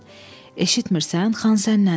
Eşitmirsən, xan sənnəndir.